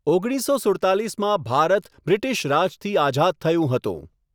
ઓગણીસસો સુડતાલીસમાં ભારત બ્રિટિશ રાજથી આઝાદ થયું હતું.